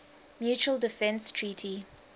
mutual defense treaty